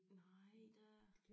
Nej da